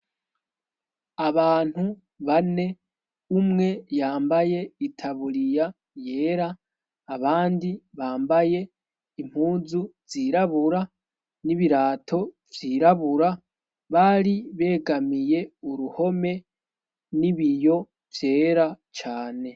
Abantu bane umwe yambaye itaburiya yera, abandi bambaye impuzu zirabura n'ibirato vyirabura, bari begamiye uruhome n'ibiyo vyera cane